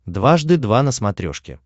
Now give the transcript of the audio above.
дважды два на смотрешке